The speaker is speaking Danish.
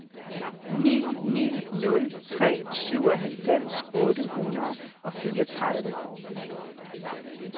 ni ni nul tre syvoghalvfems otte hundrede og fireogtredive